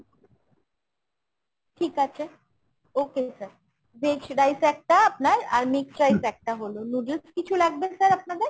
ঠিক আছে, okay sir। veg rice একটা আপনার আর mixed rice একটা হলো । noodles কিছু লাগবে sir আপনাদের ?